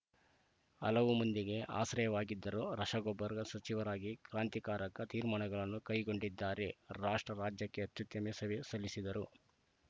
ಹಲವು ಮಂದಿಗೆ ಆಶ್ರಯವಾಗಿದ್ದರು ರಸಗೊಬ್ಬರ ಸಚಿವರಾಗಿ ಕ್ರಾಂತಿಕಾರಕ ತೀರ್ಮಾನಗಳನ್ನು ಕೈಗೊಂಡಿದ್ದಾರೆ ರಾಷ್ಟ್ರ ರಾಜ್ಯಕ್ಕೆ ಅತ್ಯುತ್ತಮ ಸೇವೆ ಸಲ್ಲಿಸಿದ್ದರು